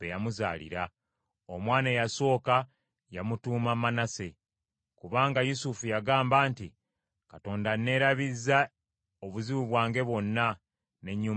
Omwana eyasooka yamutuuma Manase, kubanga Yusufu yagamba nti, “Katonda anneerabizza obuzibu bwange bwonna, n’ennyumba ya kitange.”